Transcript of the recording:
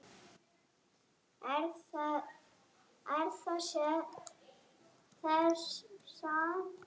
Við það vaknaði ég.